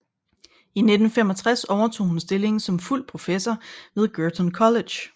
I 1965 overtog hun stillingen som fuld professor ved Girton College